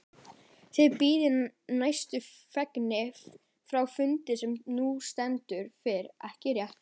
Þið bíðið nýjustu fregna frá fundi sem nú stendur yfir, ekki rétt?